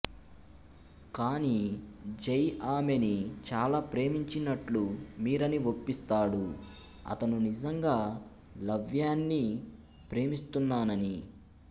కాని జై ఆమెని చాలా ప్రేమించినట్లు మీరాని ఒప్పిస్తాడు అతను నిజంగా లవ్యాని ప్రేమిస్తున్నానని